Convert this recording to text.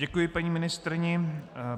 Děkuji paní ministryni.